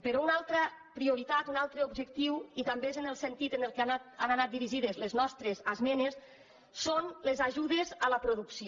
però una altra prioritat un altre objectiu i també és en el sentit en què han anat dirigides les nostres esmenes són les ajudes a la producció